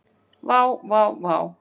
Vá, vá vá.